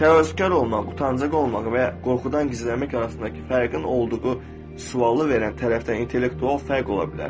Təvazökar olmaq, utancaq olmaq və ya qorxudan gizlənmək arasındakı fərqin olduğu sualı verən tərəfdən intellektual fərq ola bilər.